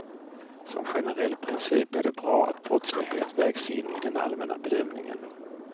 Som generell princip är det bra att brottslighet vägs in i den allmänna bedömningen.